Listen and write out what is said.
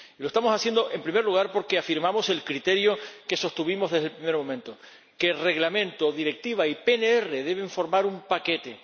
Lo estamos haciendo, en primer lugar, porque confirmamos el criterio que sostuvimos desde el primer momento que Reglamento, Directiva y PNR deben formar un paquete.